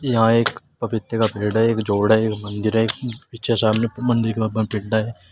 यहां एक पपीते का पेड़ एक जोड़ा हैं मंदिर है ।